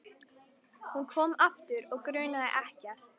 Hún kom aftur og grunaði ekkert.